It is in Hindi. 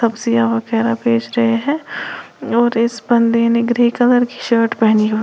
सिया वगैरह बेच रहे है और इस बंदे ने ग्रे कलर की शर्ट पहनी हुई--